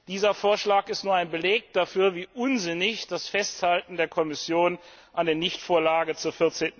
Dieser Vorschlag ist nur ein Beleg dafür, wie unsinnig das Festhalten der Kommission an der Nichtvorlage zur